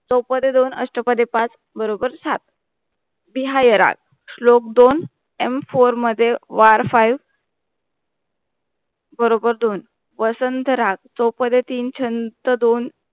चौपदे दोन आस्थपाध्ये पांच बरोबर सात तिहाई राग श्लोक दोन M FOUR मध्ये WAR FIVE बरोबर दोन वसंत राग चौपदे तीन छंत दोन